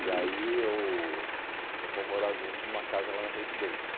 E aí eu nós fomos morar juntos numa casa lá na Previdência.